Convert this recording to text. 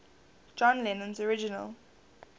john lennon's original